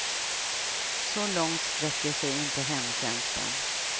Så långt sträcker sig inte hemtjänsten.